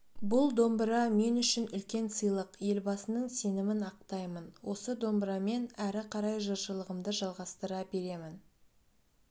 бұл домбыра мен үшін үлкен сыйлық елбасының сенімін ақтаймын осы домбырамен әрі қарай жыршылығымды жалғастыра беремін